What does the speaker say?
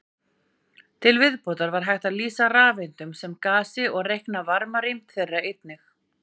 Til viðbótar var hægt að lýsa rafeindunum sem gasi og reikna varmarýmd þeirra einnig.